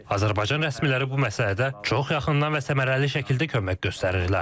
Azərbaycan rəsmiləri bu məsələdə çox yaxından və səmərəli şəkildə kömək göstərirlər.